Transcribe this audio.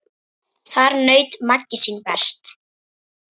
Þar naut Maggi sín best.